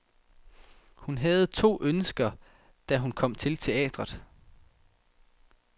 Hun havde to ønsker, da hun kom til teatret.